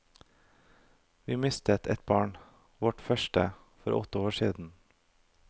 Vi mistet et barn, vårt første, for åtte år siden.